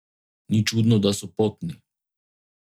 Ni čudno, da so potni.